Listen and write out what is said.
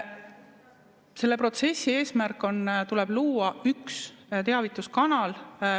Selle protsessi eesmärk on, et tuleb luua üks teavituskanal.